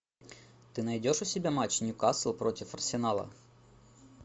ты найдешь у себя матч ньюкасл против арсенала